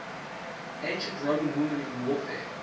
ancient roman women in warfare